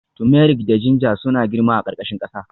Turmeric da ginger suna girma a ƙarƙashin ƙasa